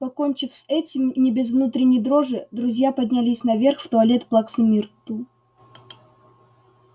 покончив с этим не без внутренней дрожи друзья поднялись наверх в туалет плаксы миртл